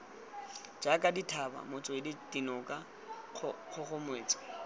jaaka dithaba metswedi dinoka kgogometso